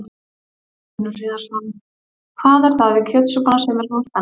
Magnús Hlynur Hreiðarsson: Hvað er það við kjötsúpuna sem er svona spennandi?